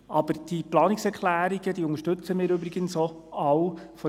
Aber die Planungserklärungen unterstützen wir von der glp aus übrigens auch alle.